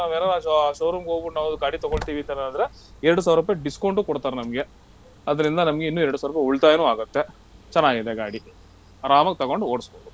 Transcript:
ನಾವ್ ಏನಾರ showroom ಗ್ ಹೋಗ್ಬಿಟ್ಟು ನಾವ್ ಗಾಡಿ ತಗೊಳ್ತೀವಿ ಈ ತರ ಅಂದ್ರೆ ಎರಡ್ ಸಾವ್ರುಪೈ discount ಉ ಕೊಡ್ತಾರ್ ನಮ್ಗೆ ಅದ್ರಿಂದ ನಮ್ಗೆ ಇನ್ನು ಎರಡ್ ಸಾವ್ರುಪೈ ಉಳ್ತಾಯನೂ ಆಗುತ್ತೆ ಚೆನ್ನಾಗಿದೆ ಗಾಡಿ ಆರಾಮಾಗ್ ತಗೊಂಡು ಓಡ್ಸ್ಬೋದು.